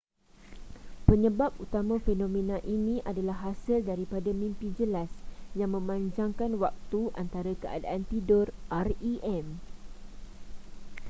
penyebab utama fenomena ini adalah hasil daripada mimpi jelas yang memanjangkan waktu antara keadaan tidur rem